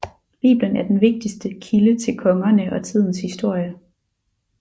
Bibelen er den vigtigste kilde til kongerne og tidens historie